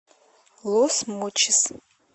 лос мочис